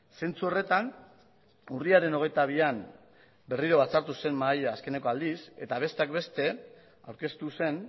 zentzu horretan urriaren hogeita bian berriro batzartu zen mahaia azkeneko aldiz eta besteak beste aurkeztu zen